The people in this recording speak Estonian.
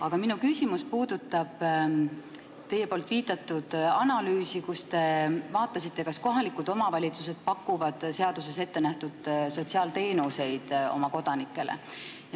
Aga minu küsimus puudutab teie viidatud analüüsi, mille tegemisel te uurisite, kas kohalikud omavalitsused pakuvad kodanikele seaduses ettenähtud sotsiaalteenuseid.